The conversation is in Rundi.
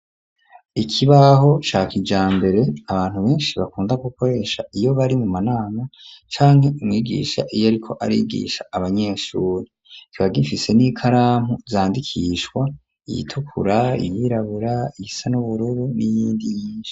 Ikibaho ca kijambere, abantu benshi bakunda gukoresha iyo bari mu manama, canke umwigisha iyo ariko arigisha abanyeshuri; kiba gifise n'ikaramu zandikishwa, iyitukura, iyirabura, iyisa n'ubururu, n'iyindi nyinshi.